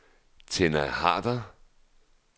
Tenna Harder